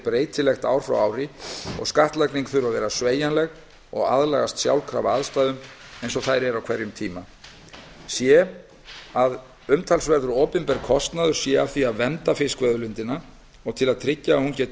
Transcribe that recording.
breytilegt frá ári til árs og skattlagning þurfi að vera sveigjanleg og aðlagast sjálfkrafa aðstæðum eins og þær eru á hverjum tíma c að umtalsverður opinber kostnaður sé af því að vernda fiskveiðiauðlindina og til að tryggja að hún geti